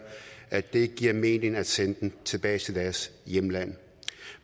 at det ikke giver mening at sende dem tilbage til deres hjemland